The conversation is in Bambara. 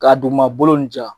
Ka duguma bolo nunnu ja .